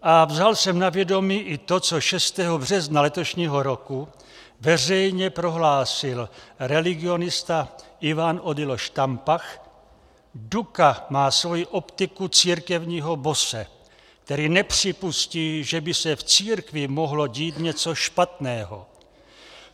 A vzal jsem na vědomí i to, co 6. března letošního roku veřejně prohlásil religionista Ivan Odilo Štampach: Duka má svoji optiku církevního bosse, který nepřipustí, že by se v církvi mohlo dít něco špatného.